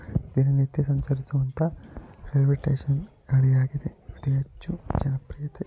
ಪ್ರತಿನಿತ್ಯ ಸಂಚರಿಸುವಂತಹ railway station ಹಳಿಯಾಗಿದೆ. ಅತಿ ಹೆಚ್ಚು ಜನಪ್ರಿಯತೆ --